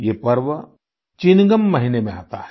ये पर्व चिनगम महीने में आता है